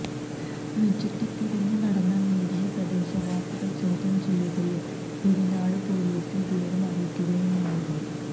ചുറ്റിത്തിരിഞ്ഞ് നടന്ന മേരിയെ പ്രദേശവാസികള് ചോദ്യം ചെയ്യുകയും പെരിനാട് പൊലീസില് വിവരം അറിയിക്കുകയുമായിരുന്നു